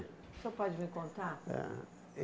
O senhor pode me contar? Ah